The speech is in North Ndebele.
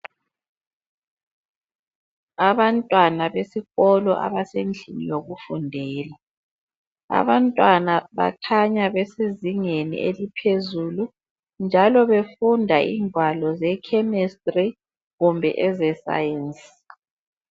Abantwana besikolo abasendlini yokufundela. Abantwana bakhanya besezingeni eliphezulu njalo befunda ingwalo ezeChemistry kumbe ezeScience.